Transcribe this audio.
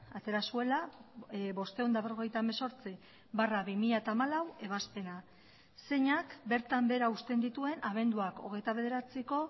atera zuela bostehun eta berrogeita hemezortzi barra bi mila hamalau ebazpena zeinak bertan behera uzten dituen abenduak hogeita bederatziko